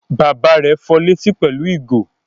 Bàbá rẹ̀ fọ létí pẹ̀lú ìgò?